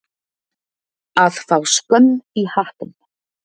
Að fá skömm í hattinn